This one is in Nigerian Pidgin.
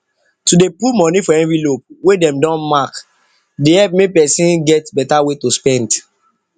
to dey put put money for envelope wey dem don mark dey help make person get better way to spend